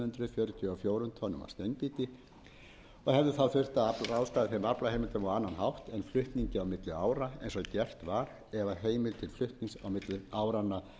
fjörutíu og fjórum tonnum af steinbít hefði þurft að ráðstafa á annan hátt en með flutningi á milli ára eins og gert var ef að heimild